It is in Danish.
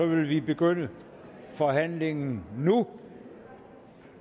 vi begynde forhandlingen nu